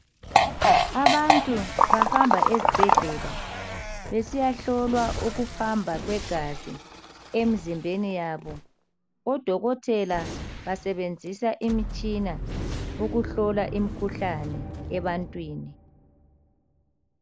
Abantu bahamba ezibhedlela besiyahlolwa ukuhamba kwegazi emzimbeni yabo odokotela basebenzisa imitshina ukuhlola imikhuhlane ebantwini.